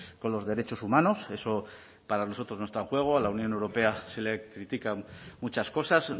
con los derechos humanos eso para nosotros no está en juego a la unión europea se le critican muchas cosas